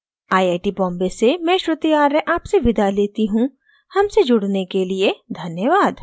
I I T Bombay से मैं श्रुति आर्य आपसे विदा लेती हूँ हमसे जुड़ने के लिए धन्यवाद